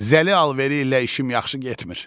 Zəli alveri ilə işim yaxşı getmir.